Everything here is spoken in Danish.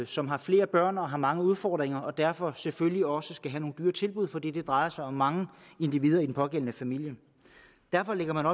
som har flere børn og har mange udfordringer og derfor selvfølgelig også skal have nogle dyre tilbud fordi det drejer sig om mange individer i den pågældende familie derfor lægger man